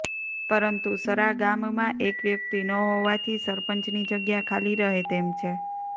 પરંતુ સરા ગામમાં એક વ્યક્તિ ન હોવાથી સરપંચની જગ્યા ખાલી રહે તેમ છે